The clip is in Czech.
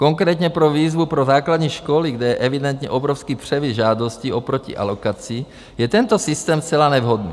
Konkrétně pro výzvu pro základní školy, kde je evidentně obrovský převis žádostí oproti alokaci, je tento systém zcela nevhodný.